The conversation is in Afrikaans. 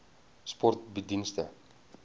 sport bied dienste